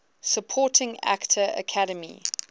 supporting actor academy